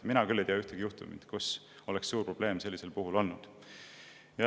Mina küll ei tea ühtegi juhtumit, kus oleks olnud selline suur probleem.